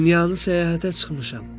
Dünyanı səyahətə çıxmışam.